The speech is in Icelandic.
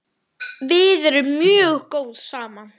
Við erum mjög góð saman.